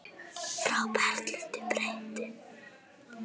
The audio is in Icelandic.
Frá Berlín breiddi